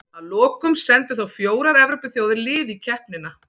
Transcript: Að lokum sendu þó fjórar Evrópuþjóðir lið í keppnina.